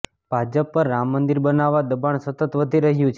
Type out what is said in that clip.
ભાજપ પર રામ મંદિર બનાવવા દબાણ સતત વધી રહ્યું છે